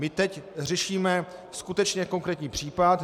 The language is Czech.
My teď řešíme skutečně konkrétní případ.